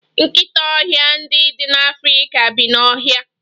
Nkịta ọhịa ndị dị n'Afrika bi n'ọhịa.